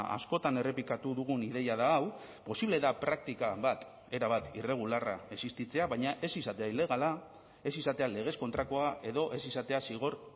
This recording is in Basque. askotan errepikatu dugun ideia da hau posible da praktika bat erabat irregularra existitzea baina ez izatea ilegala ez izatea legez kontrakoa edo ez izatea zigor